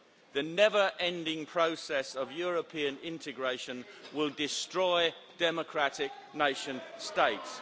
The never-ending process of European integration will destroy democratic nation states.